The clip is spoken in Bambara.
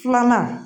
Filanan